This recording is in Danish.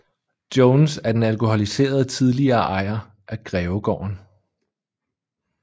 Jones er den alkoholiserede tidligere ejer af Grevegården